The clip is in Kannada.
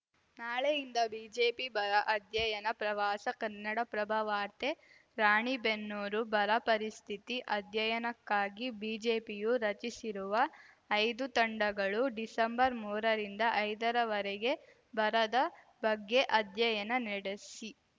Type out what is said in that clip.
ನಾಳೆಯಿಂದ ಬಿಜೆಪಿ ಬರ ಅಧ್ಯಯನ ಪ್ರವಾಸ ಕನ್ನಡಪ್ರಭ ವಾರ್ತೆ ರಾಣಿಬೆನ್ನೂರು ಬರ ಪರಿಸ್ಥಿತಿ ಅಧ್ಯಯನಕ್ಕಾಗಿ ಬಿಜೆಪಿಯು ರಚಿಸಿರುವ ಐದು ತಂಡಗಳು ಡಿಸಂಬರ್ಮೂರರಿಂದ ಐದರವರೆಗೆ ಬರದ ಬಗ್ಗೆ ಅಧ್ಯಯನ ನಡೆಸಿ